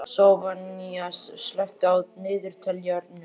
Soffanías, slökktu á niðurteljaranum.